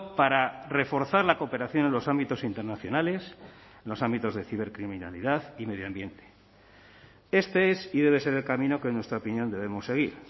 para reforzar la cooperación en los ámbitos internacionales los ámbitos de cibercriminalidad y medio ambiente este es y debe ser el camino que en nuestra opinión debemos seguir